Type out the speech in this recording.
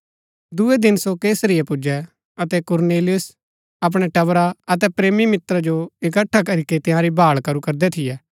दूये दिन सो कैसरिया पुजै अतै कुरनेलियुस अपणै टबरा अतै प्रेमी मित्रा जो इकट्ठा करीके तंयारी भाळ करू करदै थियै